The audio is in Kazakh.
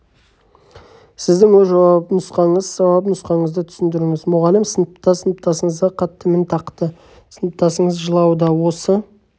сіздің өз жауап нұсқаңыз жауап нұсқаңызды түсіндіріңіз мұғалім сыныпта сыныптасыңызға қатты мін тақты сыныптасыңыз жылауда осы